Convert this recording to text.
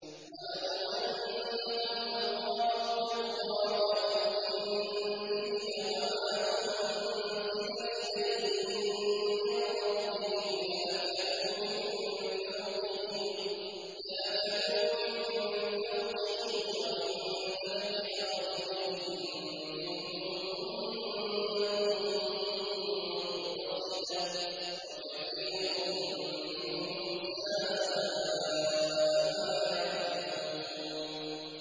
وَلَوْ أَنَّهُمْ أَقَامُوا التَّوْرَاةَ وَالْإِنجِيلَ وَمَا أُنزِلَ إِلَيْهِم مِّن رَّبِّهِمْ لَأَكَلُوا مِن فَوْقِهِمْ وَمِن تَحْتِ أَرْجُلِهِم ۚ مِّنْهُمْ أُمَّةٌ مُّقْتَصِدَةٌ ۖ وَكَثِيرٌ مِّنْهُمْ سَاءَ مَا يَعْمَلُونَ